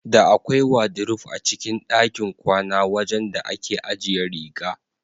Da akwai wadiruf a cikin ɗakin kwana wajan da ake ajiye riga.